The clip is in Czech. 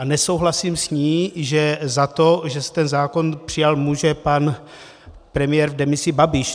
A nesouhlasím s ní, že za to, že se ten zákon přijal, může pan premiér v demisi Babiš.